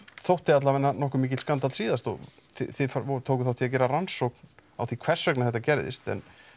þótti alla vega nokkuð mikill skandall síðast og þið tókuð þátt í að gera rannsókn á því hvers vegna þetta gerðist en